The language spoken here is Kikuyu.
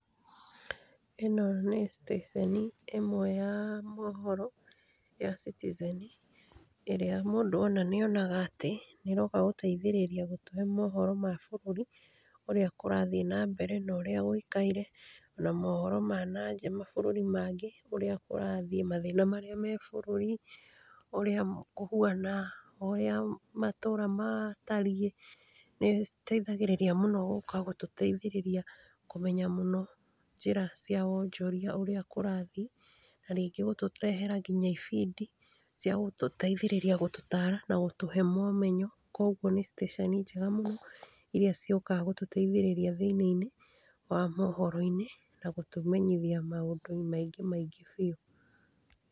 Ĩno nĩ station ĩmwe ya mohoro ya Citizen, ĩrĩa mũndũ ona nĩ onaga atĩ, nĩ ĩroka gũtũteithĩrĩria gũtũhe mohoro ma bũrũri ũrĩa kũrathiĩ nambere na ũrĩa gũikaire, na mohoro ma na nja, mabũrũri mangĩ ũrĩa kũrathiĩ, mathĩna marĩa me-bũrũrĩ, ũrĩa kũhuana, ũrĩa matũra matariĩ, nĩ ĩteithagĩrĩria mũno gũka gũtũteithĩrĩria kũmenya mũno njĩra cia wonjoria, ũrĩa kũrathi, na rĩngĩ gũtũrehera nginya ibindi cia gũtũteithĩrĩria gũtũtara na gũtũhe momenyo. Koguo nĩ station njega mũno iria ciũkaga gũtũteithĩrĩria thĩna-inĩ wa mohoro-inĩ, na gũtũmenyithia maũndũ maingĩ maingĩ biũ.